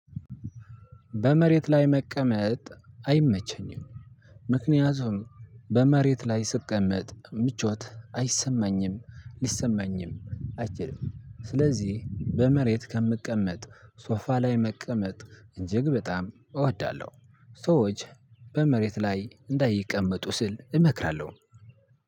በመሬት ላይ መቀመጥ አይመቸኝም። ምክንያቱም በመሬት ላይ ስቀመጥ ምቾት አይሰማኝም። ሊሰማኝም አይችልም። ስለዚህ በመሬት ከምቀመጥ ሶፋ ላይ መቀመጥ እጂግ በጣም እወዳለሁ። ሰዎች በመሬት ላይ እንዳይቀመጡ ስል እመክራለሁ።